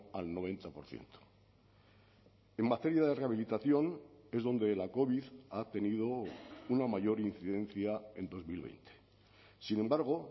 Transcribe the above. al noventa por ciento en materia de rehabilitación es donde la covid ha tenido una mayor incidencia en dos mil veinte sin embargo